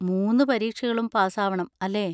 മൂന്ന് പരീക്ഷകളും പാസ് ആവണം, അല്ലേ?